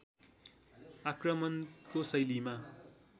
आक्रमणको शैलीमा